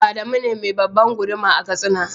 Adamu ne me babban guduma a katsina.